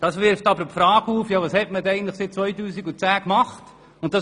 Das wirft nun die Frage auf, was man eigentlich seit 2010 gemacht hat.